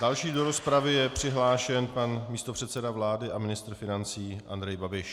Další do rozpravy je přihlášen pan místopředseda vlády a ministr financí Andrej Babiš.